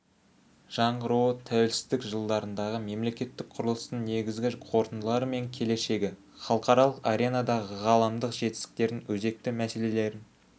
жаңғыруы тәуелсіздік жылдарындағы мемлекеттік құрылыстың негізгі қорытындылары мен келешегі халықаралық аренадағы ғаламдық жетістіктердің өзекті мәселелерін